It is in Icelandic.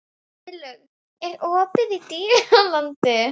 Heiðlaug, er opið í Dýralandi?